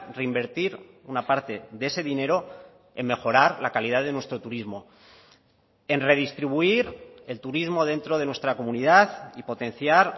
reinvertir una parte de ese dinero en mejorar la calidad de nuestro turismo en redistribuir el turismo dentro de nuestra comunidad y potenciar